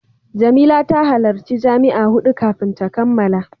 Jamila ta halarci jami'a hudu kafin ta kammala.